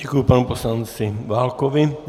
Děkuji panu poslanci Válkovi.